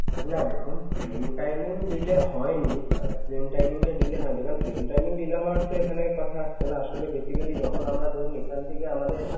না দেখুন train timing delay হয়নি আর train timing টা delay হয়নি কারন train timing delay হওয়ার তো এখানে কথা আসছেনা আসলে basically যখন আমরা ধরুন এখান থেকে আমাদের